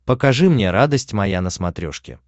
покажи мне радость моя на смотрешке